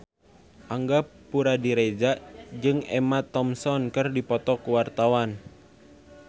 Angga Puradiredja jeung Emma Thompson keur dipoto ku wartawan